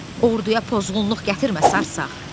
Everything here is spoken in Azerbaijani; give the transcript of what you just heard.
Orduya pozğunluq gətirmə sarısaq!